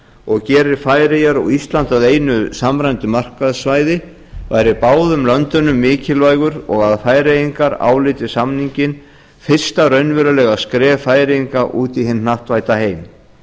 og gerir færeyjar og ísland að einu samræmdu markaðssvæði væri báðum löndunum mikilvægur og að færeyingar álíti samninginn fyrsta raunverulega skref færeyinga út í hinn hnattvædda heim